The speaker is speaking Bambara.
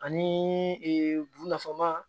Ani bunafan ma